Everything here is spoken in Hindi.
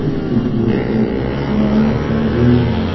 इस चित्र में एक बड़ा सा रूम है।